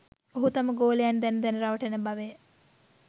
ඔහු තම ගෝලයන් දැන දැන රවටන බවය